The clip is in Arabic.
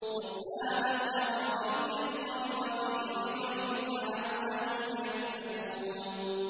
قُرْآنًا عَرَبِيًّا غَيْرَ ذِي عِوَجٍ لَّعَلَّهُمْ يَتَّقُونَ